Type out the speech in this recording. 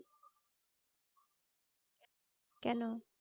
কেন?